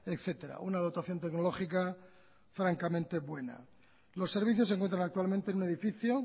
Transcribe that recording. etcétera una dotación tecnológica francamente buena los servicios se encuentran actualmente en un edificio